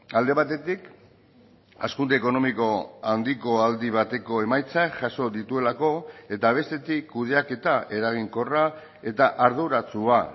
alde batetik hazkunde ekonomiko handiko aldi bateko emaitzak jaso dituelako eta bestetik kudeaketa eraginkorra eta arduratsua